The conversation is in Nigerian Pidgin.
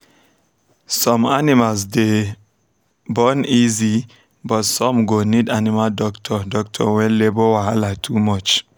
some animals dey born easy but some go need animal doctor doctor when labour wahala too much